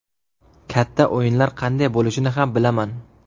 Katta o‘yinlar qanday bo‘lishini ham bilaman.